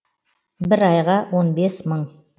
бір айға он бес мың